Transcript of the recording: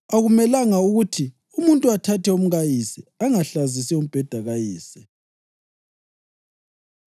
Akumelanga ukuthi umuntu athathe umkayise; angahlazisi umbheda kayise.”